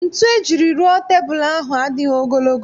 Ntu ejiri rụọ tebul ahụ adịghị ogologo